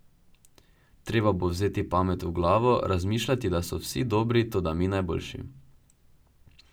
Treba bo vzeti pamet v glavo, razmišljati, da so vsi dobri, toda mi najboljši.